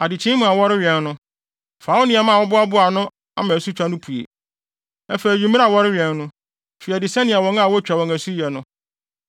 Adekyee mu a wɔrewɛn no, fa wo nneɛma a woaboa ano ama asutwa no pue. Afei anwummere a wɔrewɛn no, fi adi sɛnea wɔn a wotwa wɔn asu yɛ no.